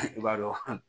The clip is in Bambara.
I b'a dɔn